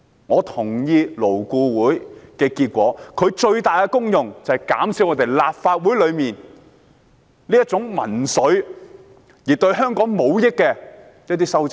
勞顧會的最大功能，是要減少立法會內宣揚民粹及對香港無益的修正案。